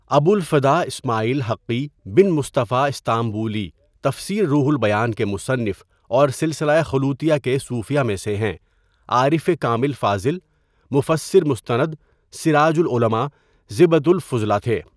ابو الفداء اسمٰعیل حقی بن مصطفیٰ استانبولی تفسیر روح البیان کے مصنف اور سلسلہ خلوتیہ کے صوفیا میں سے ہیں عارف کامل فاضل، مفسر مستند، سراج العلماء، زبدۃ الفضلاء تھے.